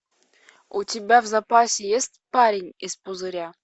у тебя в запасе есть парень из пузыря